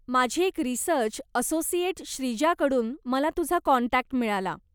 माझी एक research associate श्रीजाकडून मला तुझा काँटॅक्ट मिळाला.